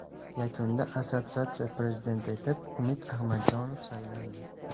Yakunda assotsiatsiyasi prezidenti etib Umid Ahmadjonov saylandi.